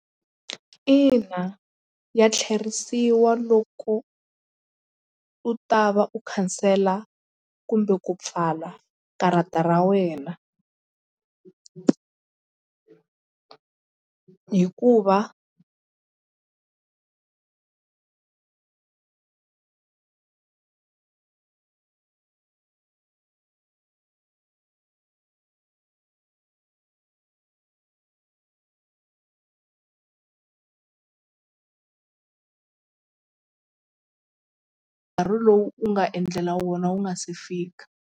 Ina ya tlherisiwa loko u ta va u khansela kumbe ku pfala karata ra wena hikuva nkarhi lowu u nga endlela wona wu nga se fika.